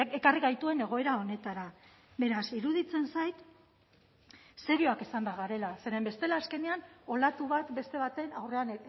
ekarri gaituen egoera honetara beraz iruditzen zait serioak izan behar garela zeren bestela azkenean olatu bat beste baten aurrean